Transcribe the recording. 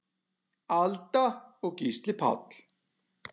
Alda og Gísli Páll.